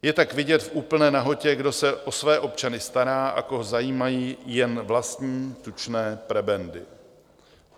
Je tak vidět v úplné nahotě, kdo se o své občany stará a koho zajímají jen vlastní tučné prebendy.